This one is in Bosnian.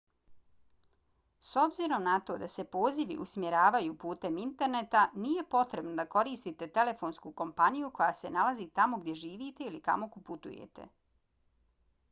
s obzirom na to da se pozivi usmjeravaju putem interneta nije potrebno da koristite telefonsku kompaniju koja se nalazi tamo gdje živite ili kamo putujete